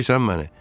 Eşidirsən məni?